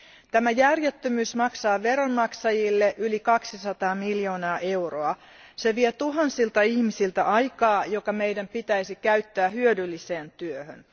Tämä järjettömyys maksaa veronmaksajille yli 200 miljoonaa euroa. Se vie tuhansilta ihmisiltä aikaa, joka meidän pitäisi käyttää hyödylliseen työhön.